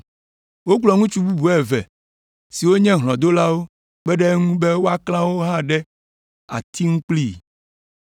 Wokplɔ ŋutsu bubu eve siwo nye hlɔ̃dolawo kpe ɖe eŋu be woaklã woawo hã ɖe ati ŋu kplii.